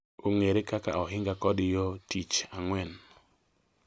ong’ere kaka Oinga kod Yo Tich Ang’wen.